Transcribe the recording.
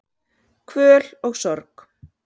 Kvöl og sorg